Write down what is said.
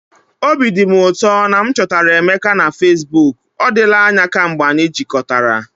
Obi dị m ụtọ na m chọtara Emeka na Fesbuk! Ọ dịla anya kemgbe anyị jikọtara.